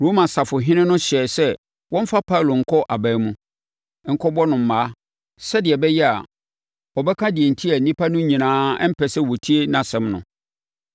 Roma safohene no hyɛɛ sɛ wɔmfa Paulo nkɔ aban mu, nkɔbɔ no mmaa sɛdeɛ ɛbɛyɛ a ɔbɛka deɛ enti a nnipa no nyinaa mpɛ sɛ wɔtie nʼasɛm no.